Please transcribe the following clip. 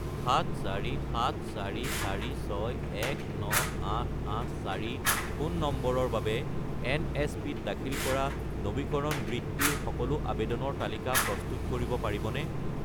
74744619884 phone নম্বৰৰ বাবে এনএছপি-ত দাখিল কৰা নবীকৰণ বৃত্তিৰ সকলো আবেদনৰ তালিকা প্ৰস্তুত কৰিব পাৰিবনে?